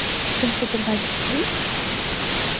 Finnst ykkur það ekki skrýtið?